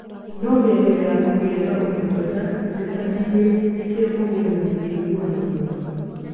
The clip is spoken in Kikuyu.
No mĩario ya ku kugĩa na ũtungata nĩ ũbataire nĩkio kũgie na wĩguano muna.